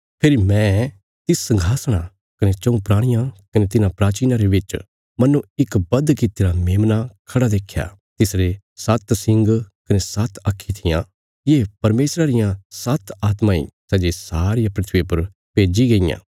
फेरी मैं तिस संघासणा कने चऊँ प्राणियां कने तिन्हां प्राचीनां रे बिच्च मन्नो इक बध कित्तिरा मेमना खड़ा देख्या तिसरे सात्त सिंग कने सात्त आक्खीं थिआं ये परमेशरा रियां सात्त आत्मा ईं सै जे सारिया धरतिया पर भेज्जी गईयां